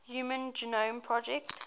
human genome project